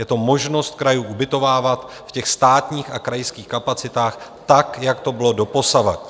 Je to možnost krajů ubytovávat v těch státních a krajských kapacitách tak, jako to bylo doposud.